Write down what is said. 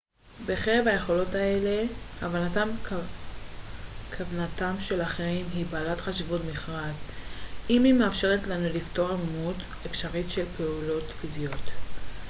בקרב היכולות האלו הבנת כוונתם של אחרים היא בעלת חשיבות מכרעת היא מאפשרת לנו לפתור עמימות אפשרית של פעולות פיזיות